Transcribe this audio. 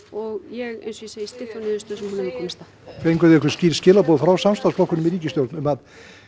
og ég eins og ég segi styð þá niðurstöðu sem hún hefur komist að fenguð þið einhver skýr skilaboð frá samstarfsflokkunum í ríkisstjórn um að